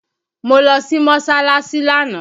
Mo lọ sí Mọ́sọ́láásí lánàá